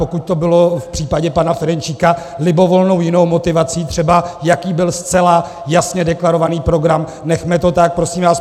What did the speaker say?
Pokud to bylo v případě pana Ferjenčíka libovolnou jinou motivací, třeba jaký byl zcela jasně deklarovaný program, nechme to tak, prosím vás.